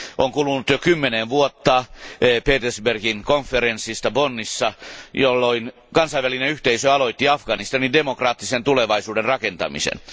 On kulunut jo kymmenen vuotta Petersbergin konferenssista Bonnissa, jolloin kansainvälinen yhteisö aloitti Afganistanin demokraattisen tulevaisuuden rakentamisen.